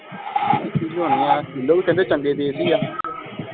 ਸ਼ੀਲੋ ਵੀ ਕਹਿੰਦੇ ਚੰਗੇ